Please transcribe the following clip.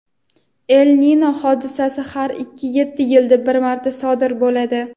El-Nino hodisasi har ikki-yetti yilda bir marta sodir bo‘ladi.